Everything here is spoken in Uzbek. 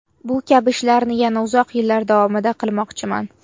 Bu kabi ishlarni yana uzoq yillar davomida qilmoqchiman.